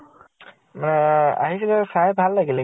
অ আহিছিলে। চাই ভাল লাগিলে